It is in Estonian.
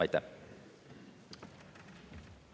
Aitäh!